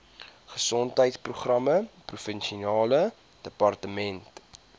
gesondheidsprogramme provinsiale departement